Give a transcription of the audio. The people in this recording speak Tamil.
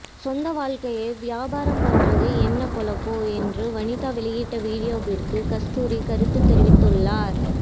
சொந்த வாழ்க்கையை வியாபாரம் பண்ணுறது என்ன பொழப்போ என்று வனிதா வெளியிட்ட வீடியோவிற்கு கஸ்தூரி கருத்து தெரிவித்துள்ளார்